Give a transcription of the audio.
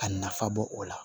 Ka nafa bɔ o la